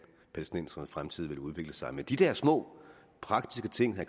palæstinensernes fremtid vil udvikle sig men de der små praktiske ting